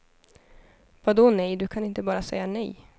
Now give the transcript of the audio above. Vadå nej, du kan inte bara säga nej.